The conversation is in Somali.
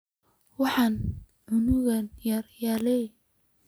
Waxan cunuki yara aya leh.